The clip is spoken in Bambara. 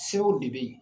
Sew de bɛ ye